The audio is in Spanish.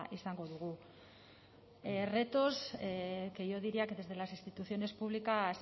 izango dugu retos que yo diría que desde las instituciones públicas